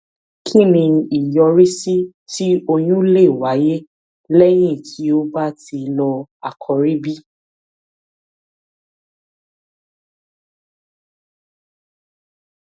kí ni ìyọrísí tí oyún lè wáyé léyìn tí o bá ti lo àkòrí b